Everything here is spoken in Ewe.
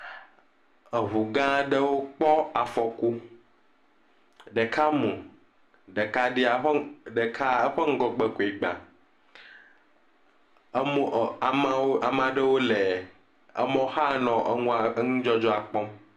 Eŋu gã aɖewo kpɔ afɔku, ɖeka mu, ɖeka eƒe ŋgɔgbe koe gba, emɔ ame aɖewo le emɔ xa le enudzɔdzɔa kpɔm.